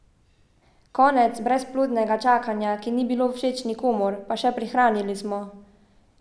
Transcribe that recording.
Konec brezplodnega čakanja, ki ni bilo všeč nikomur, pa še prihranili smo!